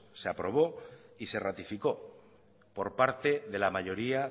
se aprobó y se ratificó por parte de la mayoría